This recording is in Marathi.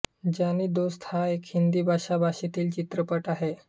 जानी दोस्त हा एक हिंदी भाषा भाषेतील चित्रपट आहे